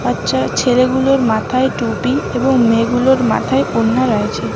বাচ্চা ছেলেগুলোর মাথায় টুপি এবং মেয়েগুলোর মাথায় ওড়না রয়েছে।